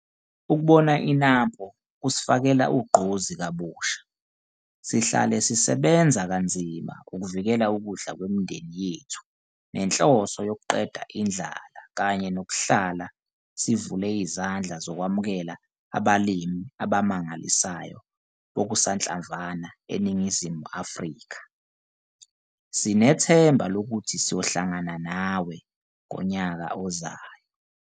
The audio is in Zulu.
Ukubona i-NAMPO kusifakela ugqozi kabusha sihlale sisebenza kanzima ukuvikela ukudla kwemindeni yethu nenhloso yokuqeda indlala kanye nokuhlala sivule izandla zokwemukela abalimi abamangalisayo bokusanhlamvu eNingizimu Afrika. Sinethemba lokuthi siyohlangana NAWE ngonyaka ozayo!